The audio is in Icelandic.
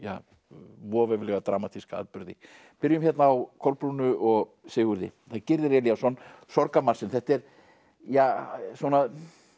voveiflega dramatíska atburði byrjum hérna á Kolbrúnu og Sigurði það er Gyrðir Elíasson Sorgarmarsinn þetta er ja svona